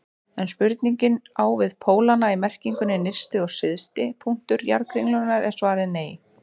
Ef spurningin á við pólana í merkingunni nyrsti og syðsti punktur jarðkringlunnar er svarið nei.